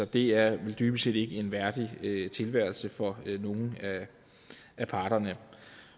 det er dybest set ikke en værdig tilværelse for nogen af parterne